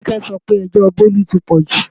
Kíkẹ́ sọ wí pé ẹjọ́ Bólú ti pọ̀jù